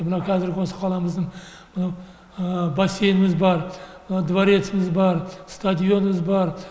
мынау қазіргі осы қаламыздың мынау бассейініміз бар мына двореціміз бар стадионымыз бар